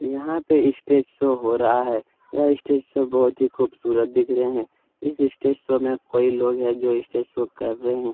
यहाँ पे stage show हो रहा है यह स्टेज शो बहुत ही खूबसूरत दिख रहे है इस स्टेज शो में कोई लोग है जो स्टेज शो कर रहे हैं।